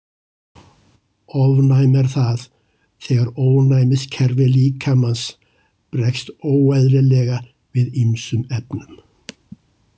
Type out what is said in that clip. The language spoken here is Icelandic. Ofnæmi er það þegar ónæmiskerfi líkamans bregst óeðlilega við ýmsum efnum.